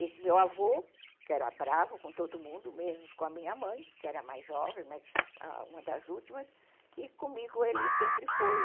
Esse meu avô, que era bravo com todo mundo, mesmo com a minha mãe, que era mais jovem, uma das últimas, e comigo ele sempre foi.